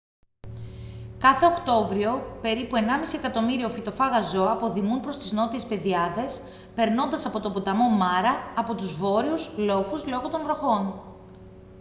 κάθε οκτώβριο περίπου 1.5 εκατομμύριο φυτοφάγα ζώα αποδημούν προς τις νότιες πεδιάδες περνώντας από τον ποταμό μάρα από τους βόρειους λόφους λόγω των βροχών